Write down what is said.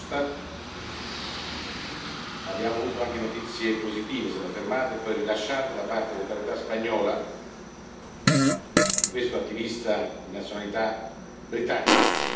Verhofstadt, ma abbiamo avuto anche notizie positive, è stato fermato e poi rilasciato da parte delle autorità spagnole questo attivista di nazionalità britannica.